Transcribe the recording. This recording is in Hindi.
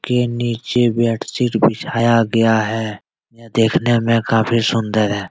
नीचे बेडशीट बिछाया गया है ये देखने मे काफी सुन्दर है ।